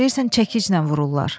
Deyirsən çəkiclə vururlar.